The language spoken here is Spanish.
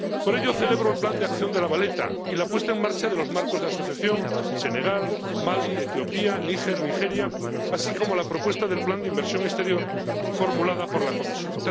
Por ello, celebro el Plan de Acción de La Valeta y la puesta en marcha de los marcos de asociación —Senegal, Mali, Etiopía, Níger, Nigeria—, así como la propuesta del plan de inversión exterior, formulada por la Comisión.